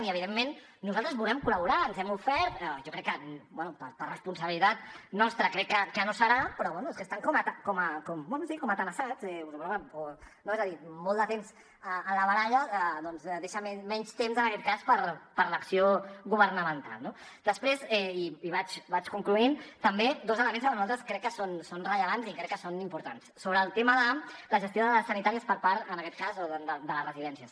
i evidentment nosaltres volem col·laborar ens hem ofert bé jo crec que per responsabilitat nostra crec que no serà però bé és que estan com tenallats no és a dir molt de temps en la baralla doncs deixa menys temps en aquest cas per l’acció governamental no després i vaig concloent també dos elements que per nosaltres crec que són rellevants i crec que són importants sobre el tema de la gestió de dades sanitàries per part en aquest cas de les residències